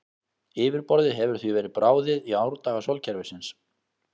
Yfirborðið hefur því verið bráðið í árdaga sólkerfisins.